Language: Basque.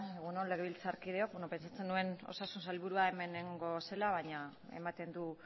egun on legebiltzarkideok pentsatzen nuen osasun sailburua hemen egongo zela baina ematen du